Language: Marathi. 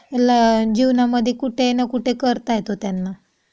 आपल्या जीवनामध्ये कुठे ना कुठे करता येतो त्यांना.